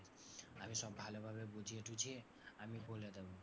আমি সব ভালোভাবে বুঝিয়ে টুঝিয়ে আমি বলে দেবো।